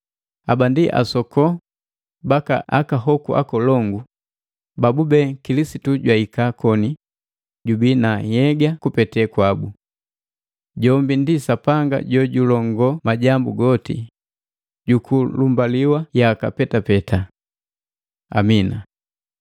Haba ndi asoko baka aka hoku akolongu, babube Kilisitu jwahika koni jubii na nhyega kupete kwabu. Jombi ndi Sapanga jojulongoo majambu goti, juku lumbaliwa yaka petapeta. Amina.